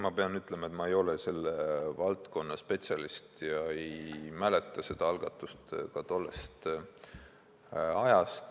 Ma pean ütlema, et ma ei ole selle valdkonna spetsialist ja ei mäleta tollest ajast seda algatust.